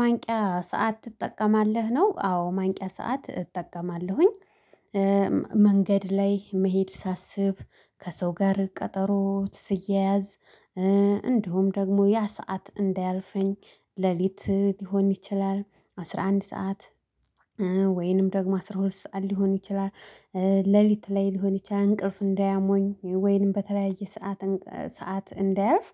ማንቂያ ሰዓት ትጠቀማለህ ነው? አዎ ማንቂያ ሰዓት እጠቀማለሁኝ። መንገድ ላይ መሄድ ሳስብ ከሰው ጋር ቀጠሮ ስያያዝ። እንዲሁም ደግሞ ያ ሰዓት እንዳያልፈኝ ሌሊት ሊሆን ይችላል አስራ አንድ ሰዓት። ወይንም ደግሞ አስራ ሁለት ሰዓት ሊሆን ይችላል። ሌሊት ላይ ሊሆን ይችላል እንቅልፍ እንዳያሞኝ ወይንም በተለያየ ሰዓት ሰዓት እንዳያልፍ